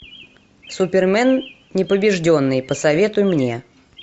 супермен непобежденный посоветуй мне